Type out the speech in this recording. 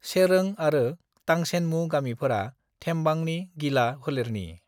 चेरों आरो तांछेनमु गामिफोरा थेम्बांनि गिला फोलेरनि।